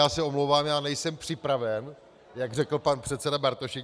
Já se omlouvám, já nejsem připraven, jak řekl pan předseda Bartošek.